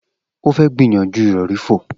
O fẹ gbiyanju irọri fo.